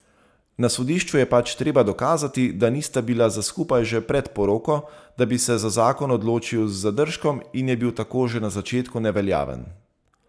Na sodišču je pač treba dokazati, da nista bila za skupaj že pred poroko, da si se za zakon odločil z zadržkom in je bil tako že na začetku neveljaven.